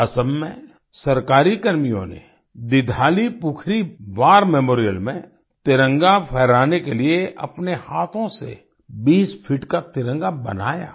असम में सरकारी कर्मियों ने दिघालीपुखुरी वार मेमोरियल में तिरंगा फहराने के लिए अपने हाथों से 20 फीट का तिरंगा बनाया